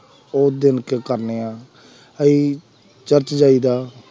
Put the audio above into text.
ਉਸ ਦਿਨ ਖਾਂਦੇ ਆ, ਅਸੀਂ ਚਰਚ ਜਾਈਦਾ,